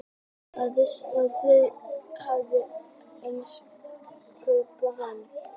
Hann vissi að þau höfðu ekki haft efni á að kaupa hann.